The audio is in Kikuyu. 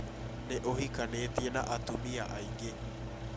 Nĩ ũhikanĩtie na atumia aingĩ